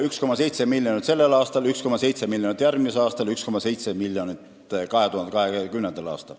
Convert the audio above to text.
1,7 miljonit sellel aastal, 1,7 miljonit järgmisel aastal ja 1,7 miljonit 2020. aastal.